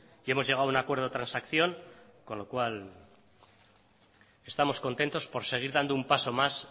y hemos llegado a un acuerdo de transacción con lo cual estamos contentos por seguir dando un paso más